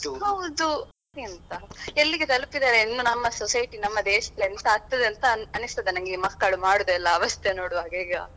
ಹೌದು ಮತ್ತೆಂತ ಎಲ್ಲಿಗೆ ತಲುಪಿದ್ದಾರೆ ಇನ್ನು ನಮ್ಮ society ನಮ್ಮ ದೇಶದಲ್ಲಿ ಎಂತಾ ಆಗ್ತಿದೆ ಅಂತ ಅನ್ನಿಸ್ತದೆ ನಂಗೆ ಈ ಮಕ್ಕಳು ಮಾಡುದೆಲ್ಲಾ ಅವಸ್ಥೆ ನೋಡುವಾಗ ಈಗ.